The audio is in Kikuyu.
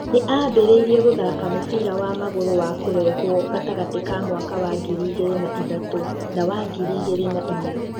Nĩ ambĩrĩirie gũthaaka mũbira wa magũrũ wa kũrehũo gatagatĩ ka mwaka wa ngiri igĩrĩ na ithatũ na wa ngiri igĩrĩ na inya.